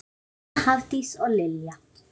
Jóna, Hafdís og Lilja.